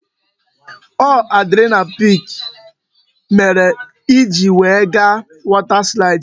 Ọ adrenaline peak mere I ji we ga water slides?